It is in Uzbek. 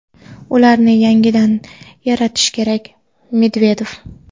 ularni yangidan yaratish kerak – Medvedev.